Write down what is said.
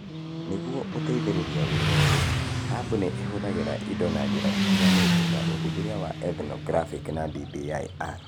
Nĩguo gũteithĩrĩria wĩra ũyũ, Hub nĩ ĩhũthagĩra indo na njĩra itiganĩte, ta ũthuthuria wa ethnographic na DBIR.